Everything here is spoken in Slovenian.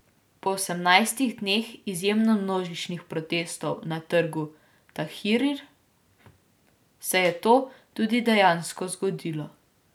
Po osemnajstih dneh izjemno množičnih protestov na trgu Tahrir se je to tudi dejansko zgodilo.